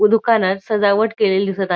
व दुकानात सजावट केलेली दिसत आ --